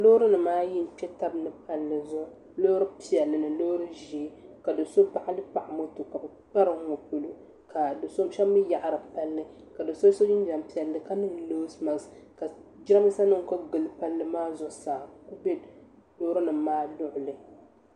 Loorinima ayi n-kpe tabi ni palli zuɣu loori piɛlli ni loori ʒee ka do so baɣali paɣa moto ka bɛ kpari n ŋɔ polo ka do so mi yaɣari palli ka do so so jinjam piɛlli ka niŋ nose mask ka jiraanmiisanima kuli gili palli maa zuɣu saa be loorinim maa luɣuli.